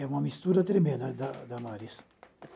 É uma mistura tremenda da da Maris.